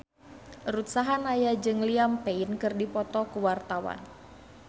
Ruth Sahanaya jeung Liam Payne keur dipoto ku wartawan